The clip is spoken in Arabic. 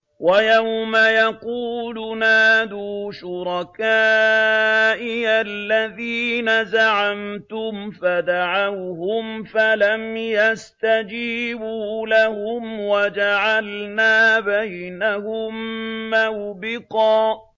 وَيَوْمَ يَقُولُ نَادُوا شُرَكَائِيَ الَّذِينَ زَعَمْتُمْ فَدَعَوْهُمْ فَلَمْ يَسْتَجِيبُوا لَهُمْ وَجَعَلْنَا بَيْنَهُم مَّوْبِقًا